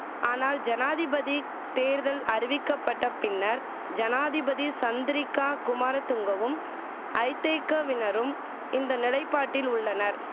ஆனால் ஜனாதிபதி தேர்தல் அறிவிக்கப்பட்ட பின்னர் ஜனாதிபதி சந்திரிக்கா குமாரதுங்கவும் ஐதேகவினரும் இந்த நிலைப்பாட்டில் உள்ளனர்